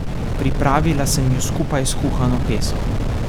Pripravila sem jo skupaj s kuhano peso.